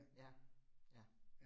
Ja, ja